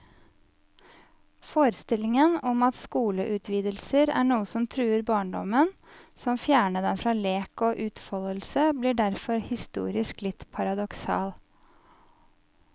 Forestillingen om at skoleutvidelser er noe som truer barndommen, som fjerner den fra lek og utfoldelse, blir derfor historisk litt paradoksal.